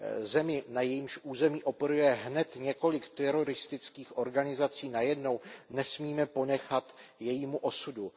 Zemi, na jejímž území operuje hned několik teroristických organizací najednou, nesmíme ponechat jejímu osudu.